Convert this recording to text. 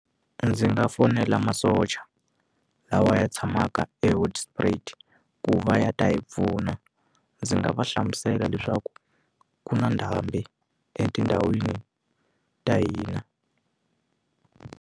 Ndzi nga fonela masocha lawa ya tshamaka eHoedspruit ku va ya ta hi pfuna ndzi nga va hlamusela leswaku ku na ndhambi etindhawini ta hina.